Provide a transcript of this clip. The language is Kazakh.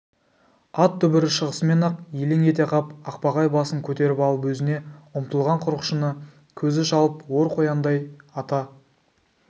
ат дүбірі шығысымен-ақ елең ете қап ақбақай басын көтеріп алып өзіне ұмтылған құрықшыны көзі шалып ор қояндай ата